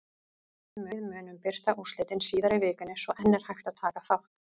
Við munum birta úrslitin síðar í vikunni svo enn er hægt að taka þátt!